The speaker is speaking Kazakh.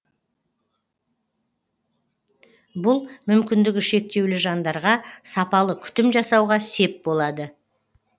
бұл мүмкіндігі шектеулі жандарға сапалы күтім жасауға сеп болады